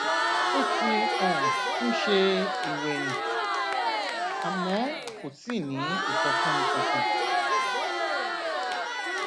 ó ti um ń ṣe ìwèyìn àmó kò tíì ní ìsọfúnni kankan